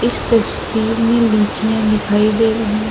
इस तस्वीर में लीचियाँ दिखाई दे रही --